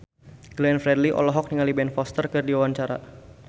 Glenn Fredly olohok ningali Ben Foster keur diwawancara